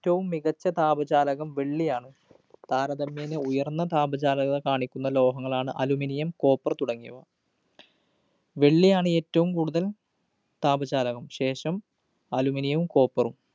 റ്റവും മികച്ച താപചാലകം വെള്ളിയാണ്. താരതമ്യേന ഉയര്‍ന്ന താപചാലകം കാണിക്കുന്ന ലോഹങ്ങളാണ് aluminiumcopper തുടങ്ങിയവ. വെള്ളിയാണ് ഏറ്റവും കൂടുതല്‍ താപചാലകം, ശേഷം aluminum വും copper ഉം